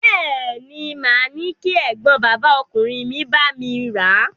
Bẹ́ẹ̀ ni, màá ní kí ẹ̀gbọ́n bàbá ọkùnrin mi bá mi rà a.